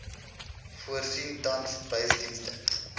voorsien tans busdienste